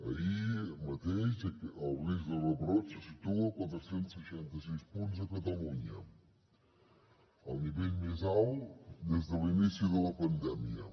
ahir mateix el risc de rebrot se situava a quatre cents i seixanta sis punts a catalunya el nivell més alt des de l’inici de la pandèmia